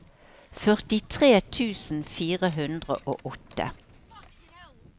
førtitre tusen fire hundre og åtte